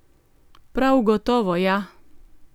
Prav gotovo, ja!